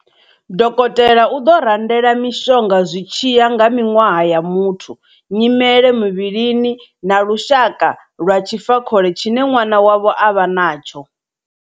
Dokotela u ḓo randela mishonga zwi tshi ya nga miṅwaha ya muthu, nyimele muvhilini na lushaka lwa tshifakhole tshine ṅwana wavho a vha natsho.